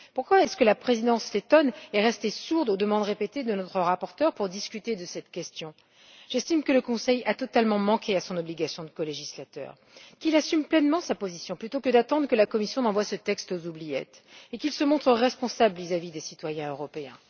Pourquoi la Présidence lettone est elle restée sourde aux demandes répétées de notre rapporteure pour discuter de cette question? J'estime que le Conseil a totalement manqué à son obligation de colégislateur. Qu'il assume pleinement sa position plutôt que d'attendre que la Commission envoie ce texte aux oubliettes, et qu'il se montre responsable vis à vis des citoyens européens.